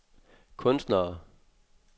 kunstnere